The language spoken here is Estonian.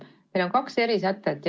Meil on kaks erisätet.